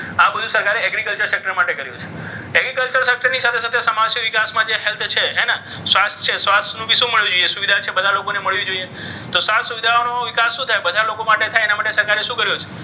તો આ બધું સરકારી agriculture sector માટે કર્યું છે. agriculture sector ની સાથે સાથે સમાજના વિકાસ માટે છે. health છે સ્વાસ્થ્ય છે સ્વાસ્થ્યનું શું મળવું જોઈએ? તો સુવિધા છે બધા લોકોને મળવી જોઈએ. એને તો આ સુવિધાઓનો લાભ બધા લોકોને થાય તે માટે સરકારે શું કર્યું છે?